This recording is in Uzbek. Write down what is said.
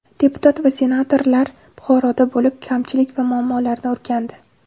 Deputat va senatorlar Buxoroda bo‘lib, kamchilik va muammolarni o‘rgandi.